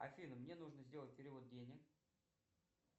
афина мне нужно сделать перевод денег